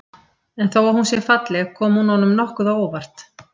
En þó að hún sé falleg kom hún honum nokkuð á óvart.